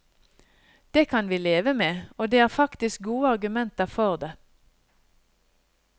Det kan vi leve med, og det er faktisk gode argumenter for det.